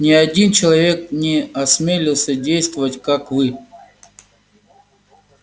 ни один человек не осмелился действовать как вы